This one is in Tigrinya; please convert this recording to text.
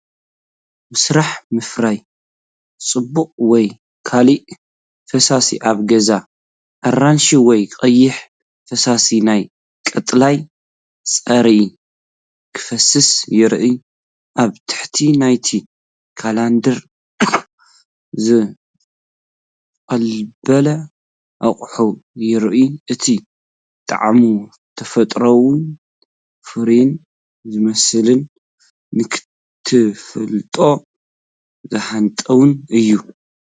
መስርሕ ምፍራይ ጽማቝ ወይ ካልእ ፈሳሲ ኣብ ገዛ። ኣራንሺ ወይ ቀይሕ ፈሳሲ ናብ ቀጠልያ መጽረዪ ክፈስስ ይረአ፣ ኣብ ታሕቲ ናይቲ ኮላንደር ዝቕበል ኣቕሓ ይረአ። እቲ ጣዕሙ ተፈጥሮኣውን ፍሩይን ዝመስልን ንኽትፈልጦ ዘሀንጥውን እዩ።